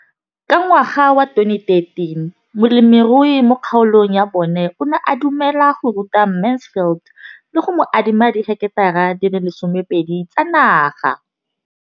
Ka ngwaga wa 2013, molemirui mo kgaolong ya bona o ne a dumela go ruta Mansfield le go mo adima di heketara di le 12 tsa naga.